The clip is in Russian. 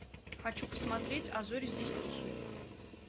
хочу посмотреть а зори здесь тихие